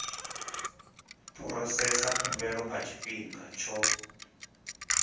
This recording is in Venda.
phurosesa khumbelo nga tshifhinga tsho